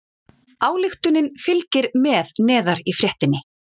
Ályktunin fylgir með neðar í fréttinni